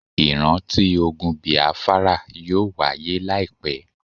Ìránti ogun Bìáfárà yóò wahyé láìpẹ́.